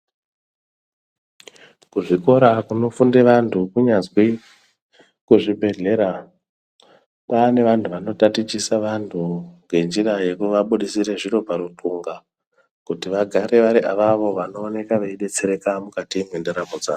Kuzvikora kunofunde vantu kunyazwi kuzvibhedhlera kwaane vantu vanotatichisa vantu ngenjira yekuvabudisire zviro paruxhunga kuti vagare vari avavo vanoona veibetsereka mukati mwendaramo dzavo.